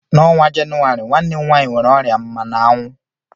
N'ọnwa Jenụwarị, nwanne m nwanyị nwere ọrịa mmana anwu